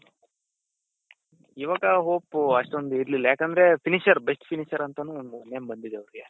ಇವಾಗ hope ಅಷ್ಟೊಂದ್ ಇರ್ಲಿಲ್ಲ ಯಾಕಂದ್ರೆ finisher best finisher ಅಂತಾನೂ ಒಂದ್ name ಬಂದಿದೆ ಅವೃಗೆ .